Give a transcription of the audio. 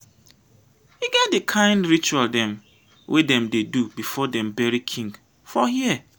e get di kain ritual dem wey dem dey do before dem bury king for here.